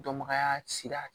Dɔnbagaya sira